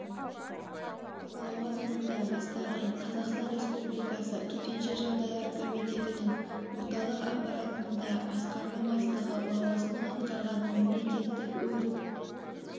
лауазымында бастаған қазақстан республикасы төтенше жағдайлар комитетінің орталық аппаратында басқарма бастығы лауазымын атқарған мемлекеттік өрт